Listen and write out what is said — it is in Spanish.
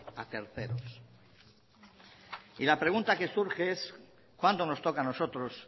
a terceros y la pregunta que surge es cuando nos toca a nosotros